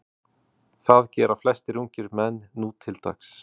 Það gera flestir ungir menn nútildags.